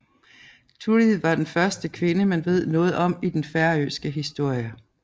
Turið var den første kvinde man ved noget om i den færøske historie